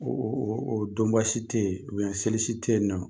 O o donba si te yen, o seli si te yen nɔn